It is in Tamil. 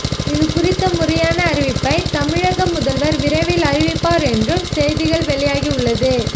இது குறித்த முறையான அறிவிப்பை தமிழக முதல்வர் விரைவில் அறிவிப்பார் என்றும் செய்திகள் வெளியாகி உள்ளது